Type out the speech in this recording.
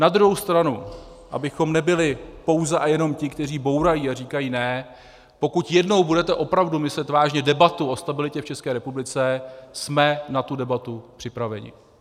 Na druhou stranu abychom nebyli pouze a jenom ti, kteří bourají a říkají ne, pokud jednou budete opravdu myslet vážně debatu o stabilitě v České republice, jsme na tu debatu připraveni.